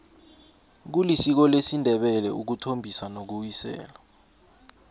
kulisiko lesindebele ukuthombisa nokuwisela